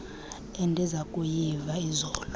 endiza kuyiva izolo